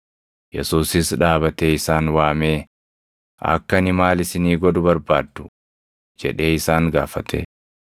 Yesuusis dhaabatee isaan waamee, “Akka ani maal isinii godhu barbaaddu?” jedhee isaan gaafate.